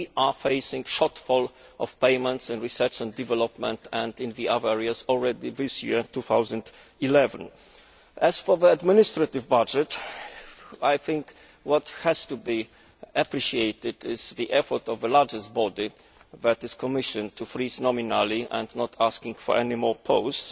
We are facing a shortfall of payments in research and development and in other areas already this year 2011. As for the administrative budget, I think what has to be appreciated is the effort of the largest body, that is the Commission, to freeze nominally and not ask for any more posts.